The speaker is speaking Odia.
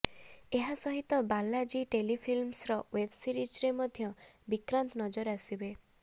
ଏହା ସହିତ ବାଲାଜୀ ଟେଲିଫିଲ୍ମସ୍ର ଓ୍ବେବସିରିଜ୍ରେ ମଧ୍ୟ ବିକ୍ରାନ୍ତ ନଜର ଆସିବେ